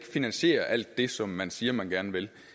finansiere alt det som man siger at man gerne vil